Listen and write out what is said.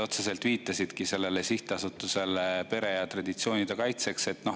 Te viitasite otseselt SA‑le Perekonna ja Traditsiooni Kaitseks.